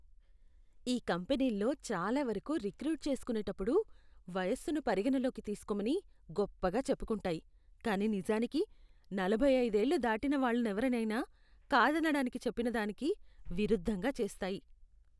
ఈ కంపెనీల్లో చాలా వరకు రిక్రూట్ చేస్కునేటప్పుడు వయస్సును పరిగణనలో తీసుకోమని గొప్పగా చెప్పుకుంటాయి కానీ నిజానికి, నలభై ఐదేళ్ళు దాటిన వాళ్ళనెవరినైనా కాదనడానికి చెప్పినదానికి విరుద్ధంగా చేస్తాయి.